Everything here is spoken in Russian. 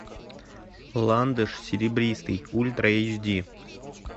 ландыш серебристый ультра эйч ди